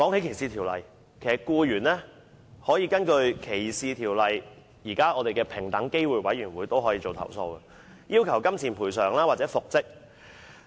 其實，僱員可根據歧視條例，向平等機會委員會作出申訴，要求金錢賠償或復職。